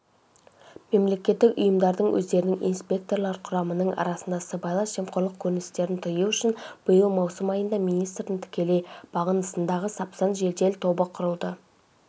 мемлекеттік ұйымдардың өздерінің инспекторлар құрамының арасында сыбайлас жемқорлық көріністерін тыю үшін биыл маусым айында министрдің тікелей бағынысындағы сапсан жедел тобы құрылды